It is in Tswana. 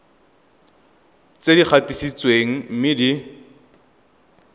tse di gatisitsweng mme di